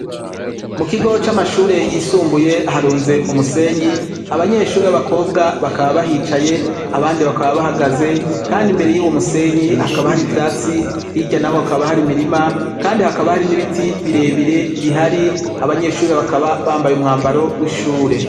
Mu kigo c'amashure yisumbuye harunze umusenyi abanyeshuri b'abakobwa bakaba bahicaye abandi bakaba bahagaze kandi imbere y'uwo musenyi hakaba hari ivyatsi hirya naho hakaba hari mirima kandi hakaba hari n'ibiti birebire bihari abanyeshuri bakaba bambaye umwambaro w'ishure.